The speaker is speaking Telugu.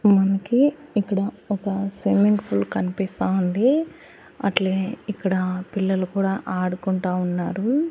మనకి ఇక్కడ ఒక స్విమ్మింగ్ పూల్ కనిపిస్తా ఉంది అట్లే ఇక్కడ పిల్లలు కూడా ఆడుకుంటా ఉన్నారు.